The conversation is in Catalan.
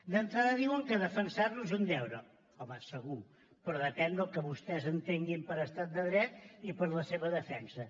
d’entrada diuen que defensar lo és un deure home segur però depèn del que vostès entenguin per estat de dret i per la seva defensa